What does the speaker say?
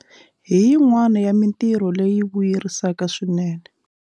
Hi yin'wana ya mitirho leyi vuyerisaka swinene.